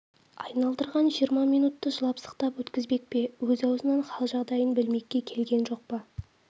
айналдырған жиырма минутты жылап-сықтап өткізбек пе өз аузынан хал-жағдайын білмекке келген жоқ па